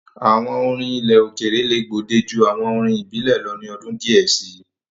Àwọn orin ilẹ̀ òkèèrè le gbòde ju àwọn orin ìbílẹ̀ lọ ni ọdún díẹ̀ si.